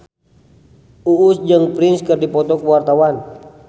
Uus jeung Prince keur dipoto ku wartawan